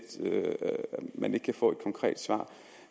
og man ikke kan få et konkret svar